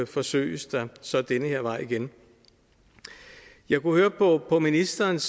forsøges der så ad den her vej igen jeg kunne høre på på ministerens